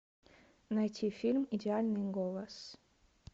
найти фильм идеальный голос